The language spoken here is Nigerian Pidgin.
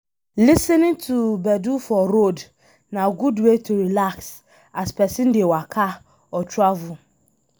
Lis ten ing to gbedu for road na good way to relax as person dey waka or travel